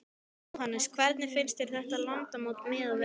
Jóhannes: Hvernig finnst þér þetta landsmót miðað við önnur?